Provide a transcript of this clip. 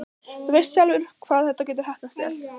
Þú veist sjálfur hvað þetta getur heppnast vel.